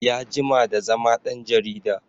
Ya jima ta zama ɗan jarida